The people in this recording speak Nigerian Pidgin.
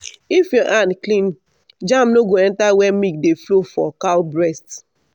if your hand clean germ no go enter where milk dey flow for cow breast